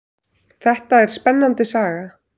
Þetta er spennandi saga.